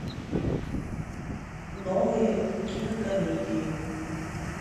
новые кинокомедии